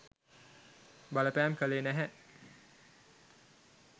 බලපෑම් කළේ නැහැ.